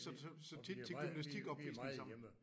Vi og vi er meget vi er meget hjemme